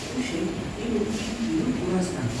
U sheeg inuu ii tiriyo kuraastan